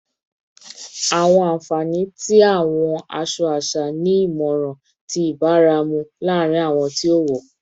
Awọn anfani ti awọn aṣọ-aṣọ aṣa ni imọran ti ibaramu laarin awọn ti o wọ